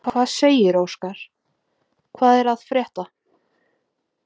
Fréttamaður: Hvað segirðu Óskar, hvað er að frétta?